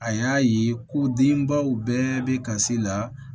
A y'a ye ko denbaw bɛɛ bɛ kasi la